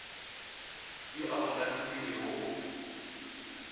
yo a go hlahlobilego o